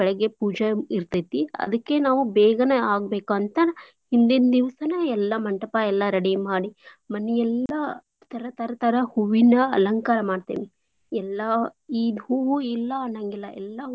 ಬೇಳ್ಗೆ ಪೂಜೆ ಇರ್ತೇತಿ ಅದ್ಕೇನೆ ನಾವ್ ಬೇಗ್ನೇ ಆಗ್ಬೇಕ್ ಅಂತಾ ಹಿಂದಿಂನ್ದಿವ್ಸಾನ ಎಲ್ಲಾ ಮಂಟಪ ಎಲ್ಲಾ ready ಮಾಡಿ ಮನಿ ಎಲ್ಲಾ ತರ್ ತರ್ ತರ ಹೂವೀನ ಅಲಂಕಾರಾ ಮಾಡ್ತೇವಿ ಎಲ್ಲ ಈ ಹೂವು ಇಲ್ಲಾ ಅನ್ನಂಗಿಲ್ಲಾ.